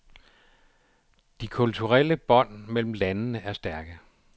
De kulturelle bånd mellem landene er stærke.